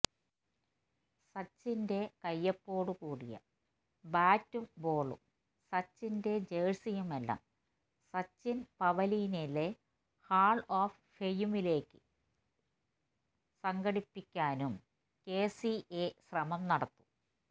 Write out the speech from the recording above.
സച്ചിന്റെ കയ്യൊപ്പോടുകൂടിയ ബാറ്റും ബോളും സച്ചിന്റെ ജഴ്സിയുമെല്ലാം സച്ചിന് പവിലിയനിലെ ഹാള് ഓഫ് ഫെയിമിലേക്കു സംഘടിപ്പിക്കാനും കെസിഎ ശ്രമം നടത്തും